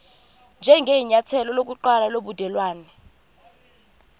njengenyathelo lokuqala lobudelwane